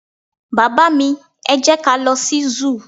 baba mi, e jẹ ka lo sí zoo